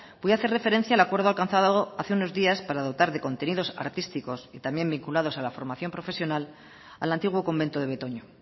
voy a hacer referencia al acuerdo alcanzado hace unos días para dotar de contenidos artísticos y también vinculados a la formación profesional al antiguo convento de betoño